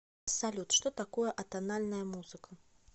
салют что такое атональная музыка